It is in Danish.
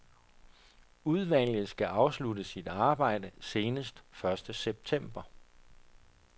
Udvalget skal afslutte sit arbejde senest første september.